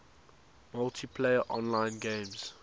multiplayer online games